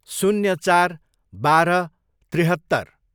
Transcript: शून्य चार, बाह्र, त्रिहत्तर